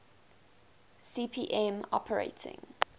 cp m operating